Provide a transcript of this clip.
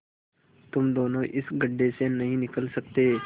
तुम दोनों इस गढ्ढे से नहीं निकल सकते